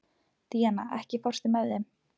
Díanna, ekki fórstu með þeim?